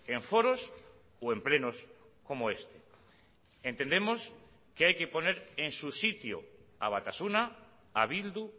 en foros o en plenos como este entendemos que hay que poner en su sitio a batasuna a bildu